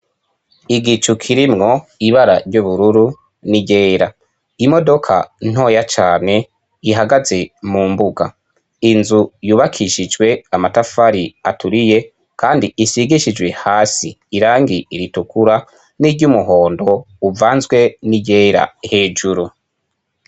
Igicu kirimwo ibara ry'ubururu n'irera imodoka ntoya cane ihagaze mu mbuga inzu yubakishijwe amatafari aturiye, kandi isigishijwe hasi irangi iritukura n'iryo umuhondo uvanzwe n'igera hejuru.